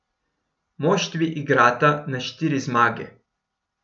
Moštvi igrata na štiri zmage.